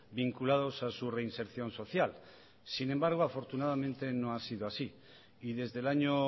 vinculados a su reinserción social sin embargo afortunadamente no ha sido así y desde el año